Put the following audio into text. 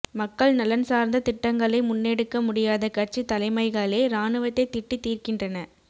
மக்கள் நலன் சார்ந்த திட்டங்களை முன்னெடுக்க முடியாத கட்சி தலைமகளே இராணுவத்தை திட்டி தீர்க்கின்றன